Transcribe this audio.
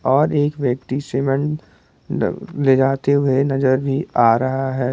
और एक व्यक्ति सीमेंट मतलब ले जाते हुए नजर भी आ रहा है।